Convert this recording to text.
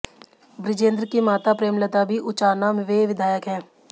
बृजेंद्र की माता प्रेमलता भी उचाना वे विधायक हैं